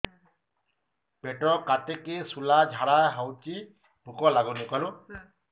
ପେଟ କାଟିକି ଶୂଳା ଝାଡ଼ା ହଉଚି ଭୁକ ଲାଗୁନି